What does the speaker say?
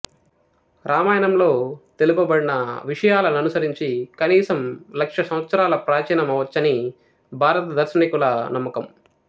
రామాయణంలో తెలుపబడిన విషయాలననుసరించి కనీసం లక్ష సంవత్సరాల ప్రాచీనమవవచ్చని భారత దార్శనికుల నమ్మకం